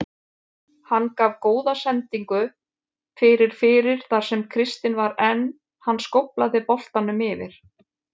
Hann gaf góða sendingu fyrir fyrir þar sem Kristinn var en hann skóflaði boltanum yfir.